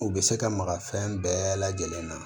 U bɛ se ka maga fɛn bɛɛ lajɛlen na